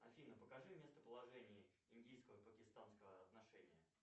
афина покажи местоположение индийского пакистанского отношения